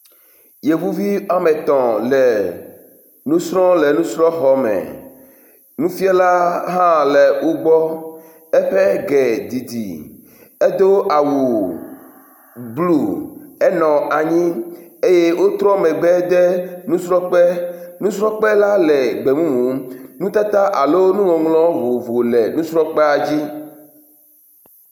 Yevuvi woame etɔ̃ le nusrɔ̃m le nusrɔ̃xɔme. Nufia la hã le wo gbɔ, eƒe ge didi edo awu blu, enɔ anyi eye wotrɔ megbe do nusrɔ̃kpe. Nusrɔ̃kpe la le gbe mumu, nutata alo nuŋɔŋlɔ vovovo le nusrɔ̃kpea dzi.